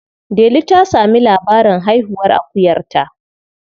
Delu ta sami labarin haihuwar akuyarta.